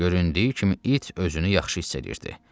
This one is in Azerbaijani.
Göründüyü kimi, it özünü yaxşı hiss eləyirdi.